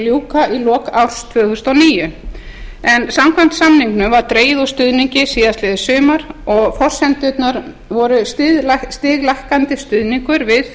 ljúka í lok árs tvö þúsund og níu en samkvæmt samningnum var dregið úr stuðningi síðastliðið sumar og forsendurnar voru stiglækkandi stuðningur við